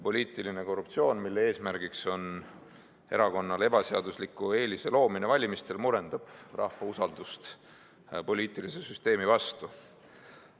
Poliitiline korruptsioon, mille eesmärk on erakonnale ebaseadusliku eelise loomine valimistel, murendab rahva usaldust poliitilise süsteemi vastu.